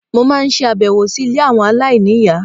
Mo máa ń ṣe àbẹ̀wò si ilé àwọn aláìní ìyá